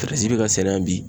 be ka sɛnɛ yan bi.